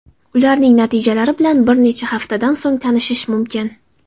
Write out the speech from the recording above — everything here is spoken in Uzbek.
Ularning natijalari bilan bir necha haftadan so‘ng tanishish mumkin.